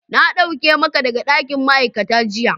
Na dauke maka daga dakin ma'aikata jiya.